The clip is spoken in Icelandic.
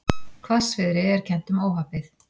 Hvassviðri er kennt um óhappið